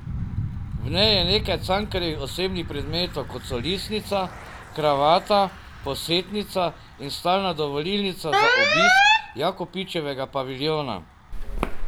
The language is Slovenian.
V njej je nekaj Cankarjevih osebnih predmetov kot so listnica, kravata, posetnica in stalna dovolilnica za obisk Jakopičevega paviljona.